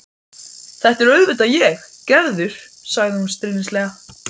Þetta er auðvitað ég, Gerður, sagði hún stríðnislega.